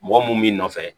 Mɔgɔ mun b'i nɔfɛ